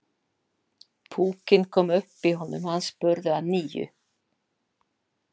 Púkinn kom upp í honum og hann spurði að nýju.